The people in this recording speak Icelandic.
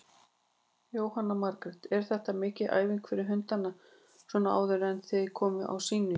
Jóhanna Margrét: Er þetta mikil æfing fyrir hundana svona áður en þið komið á sýningu?